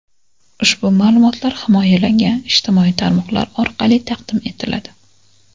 Ushbu ma’lumotlar himoyalangan ijtimoiy tarmoqlar orqali taqdim etiladi.